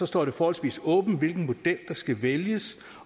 står det forholdsvis åbent hvilken model der skal vælges